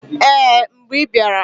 Ee! Mgbe i bịara.